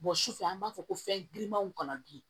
su fɛ an b'a fɔ ko fɛn girimanw kana dun